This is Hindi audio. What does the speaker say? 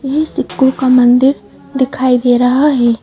ये सिक्कों का मंदिर दिखाई दे रहा है।